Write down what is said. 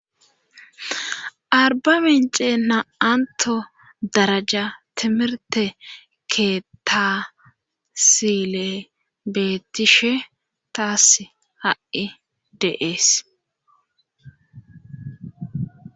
Arba mence na7anto daraja timirte ke tasile beettishe taas ha7i deees.